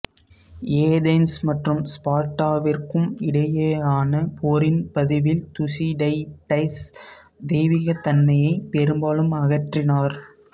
Athens மற்றும் ஸ்பார்டாவிற்கும் இடையேயான போரின் பதிவில் துசிடைடஸ் தெய்வீகத் தன்மையை பெரும்பாலும் அகற்றினார்